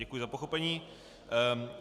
Děkuji za pochopení.